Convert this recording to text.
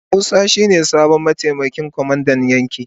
Musa shi ne sabon mataimakin kwamandan yaki.